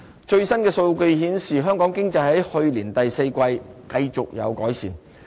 最新的數據顯示，香港經濟在去年第四季繼續有改善。